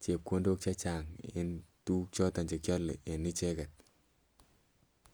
chepkondok chechang eng tuguk choto che kiale en icheget.